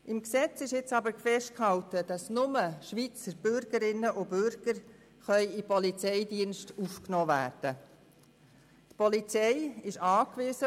Im Gesetz ist festgehalten, dass nur Schweizer Bürgerinnen und Bürger in den Polizeidienst aufgenommen werden können.